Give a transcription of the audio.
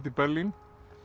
í Berlín